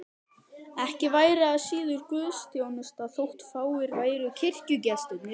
Ekki væri það síður guðsþjónusta þótt fáir væru kirkjugestirnir.